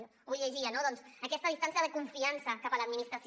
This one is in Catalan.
avui ho llegia no doncs aquesta distància de confiança cap a l’administració